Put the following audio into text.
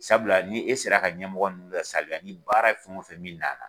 Sabula ni e sera ka ɲɛmɔgɔ ninnu la saliya ni baara fɛn o fɛn min na la